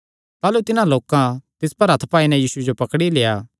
ताह़लू तिन्हां लोकां तिस पर हत्थ पाई नैं यीशुये जो पकड़ी लेआ